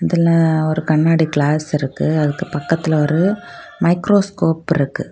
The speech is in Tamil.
இதுல ஒரு கண்ணாடி கிளாஸ் இருக்கு அதுக்கு பக்கத்துல ஒரு மைக்ரோஸ்கோப் இருக்கு.